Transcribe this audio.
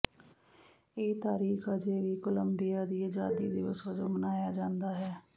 ਇਹ ਤਾਰੀਖ ਅਜੇ ਵੀ ਕੋਲੰਬੀਆ ਦੀ ਆਜ਼ਾਦੀ ਦਿਵਸ ਵਜੋਂ ਮਨਾਇਆ ਜਾਂਦਾ ਹੈ